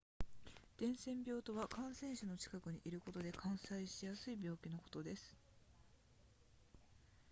伝染病とは感染者の近くにいることで感染しやすい病気のことです